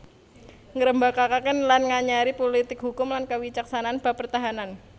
Ngrembakakaken lan nganyari pulitik hukum lan kawicaksanan bab pertanahan